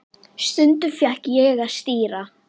Stundum fékk ég að stýra.